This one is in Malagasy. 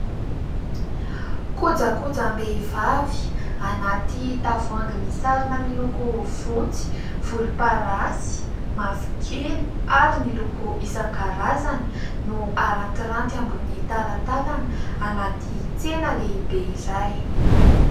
Kojakojam-behivavy anaty tavoahangy misarona; miloko fotsy, volom-parasy, mavokely ary ny loko isankarazany; no arantiranty ambonin'ny talantalana anaty tsena lehibe iray.